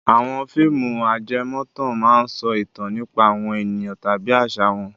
Àwọn fíìmù ajẹmọ́tàn máa ń sọ ìtàn nípa àwọn ènìyàn tàbí àṣà wọn.